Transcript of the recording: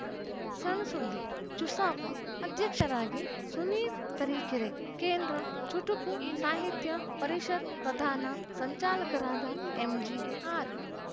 ಸಣ್‌ ಸುದ್ದಿ ಚುಸಾಪ ಅಧ್ಯಕ್ಷರಾಗಿ ಸುನೀಲ್‌ ತರೀಕೆರೆ ಕೇಂದ್ರ ಚುಟುಕು ಸಾಹಿತ್ಯ ಪರಿಷತ್‌ ಪ್ರಧಾನ ಸಂಚಾಲಕರಾದ ಎಂಜಿಆರ್‌